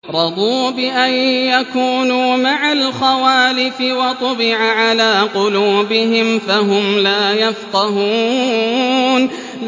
رَضُوا بِأَن يَكُونُوا مَعَ الْخَوَالِفِ وَطُبِعَ عَلَىٰ قُلُوبِهِمْ فَهُمْ لَا يَفْقَهُونَ